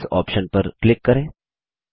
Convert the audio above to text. settings option पर click करें